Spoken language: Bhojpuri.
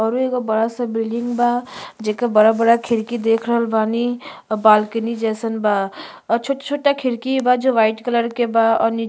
औरु एगो बड़ा सा बिल्डिंग बा जेकर बड़ा-बड़ा खिड़की देख रहल बानी। अ बालकनी जइसन बा। अ छोटा-छोटा खिड़की बा जो व्हाइट कलर के बा और नी --